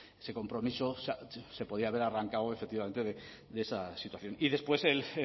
ese compromiso se podía haber arrancado efectivamente de esa situación y después